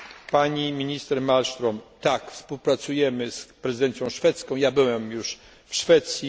Pani minister Malmström tak, współpracujemy z prezydencją szwedzką, byłem już w Szwecji.